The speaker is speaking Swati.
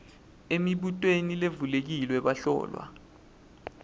emibutweni levulekile bahlolwa